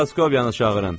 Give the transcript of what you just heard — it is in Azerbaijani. Proskovyanı çağırın.